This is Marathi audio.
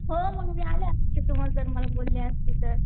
हो मी आले असते तू जर मला बोलले असते तर.